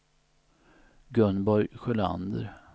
Gunborg Sjölander